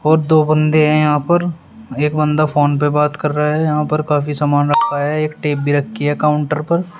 और दो बंदे हैं यहां पर एक बंदा फोन पर बात कर रहा है यहां पर काफी सामान रखा है एक टेप रखी है काउंटर पर।